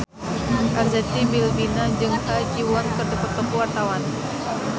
Arzetti Bilbina jeung Ha Ji Won keur dipoto ku wartawan